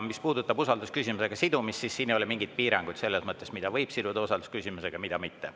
Mis puudutab usaldusküsimusega sidumist, siis siin ei ole mingeid piiranguid selles mõttes, mida võib siduda usaldusküsimusega, mida mitte.